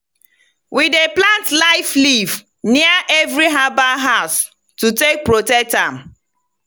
we dey plant "life leaf" near every herbal house to take protect am.